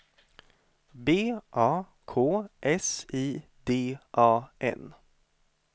B A K S I D A N